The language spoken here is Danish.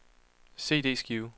CD-skive